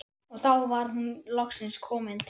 Og þá var hún loksins komin til